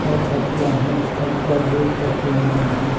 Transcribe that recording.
और तकिया हैं और उपर गेट्स रखे हुए हैं।